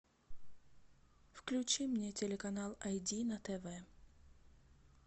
включи мне телеканал ай ди на тв